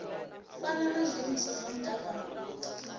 fani na zwiimiswa zwa mutakalo